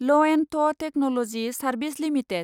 L&T technology service limited